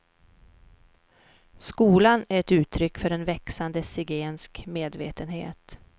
Skolan är ett uttryck för en växande zigensk medvetenhet.